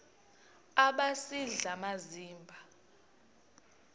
aba sisidl amazimba